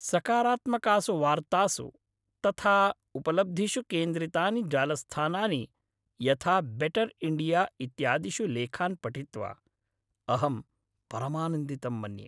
सकारात्मकासु वार्तासु तथा उपलब्धिषु केन्द्रितानि जालस्थानानि यथा बॆटर् इण्डिया इत्यादिषु लेखान् पठित्वा अहम् परमानन्दितं मन्ये।